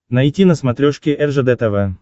найти на смотрешке ржд тв